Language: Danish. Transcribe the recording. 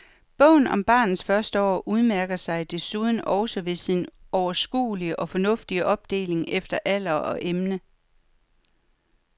Bogen om barnets første år udmærker sig desuden også ved sin overskuelige og fornuftige opdeling efter alder og emne.